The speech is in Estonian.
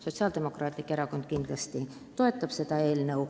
Sotsiaaldemokraatlik Erakond kindlasti toetab seda eelnõu.